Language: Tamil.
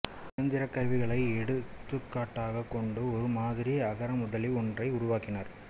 இயந்திரக் கருவிகளை எடுத்துக்காட்டாகக் கொண்டு ஒரு மாதிரி அகரமுதலி ஒன்றையும் உருவாக்கினார்